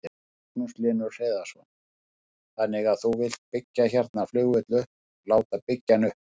Magnús Hlynur Hreiðarsson: Þannig að þú vilt byggja hérna flugvöll upp, láta byggja hann upp?